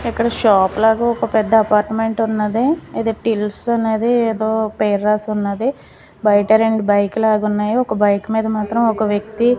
ఇక్కడ షాప్ లాగా ఒక పెద్ద అపార్ట్మెంట్ ఉన్నది ఇది టిల్స్ అన్నది ఏదో పెర్రాసి ఉన్నది బయట రెండు బైక్ లాగున్నాయి ఒక బైక్ మీద మాత్రం ఒక వ్యక్తి--